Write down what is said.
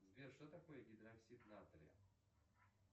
сбер что такое гидроксид натрия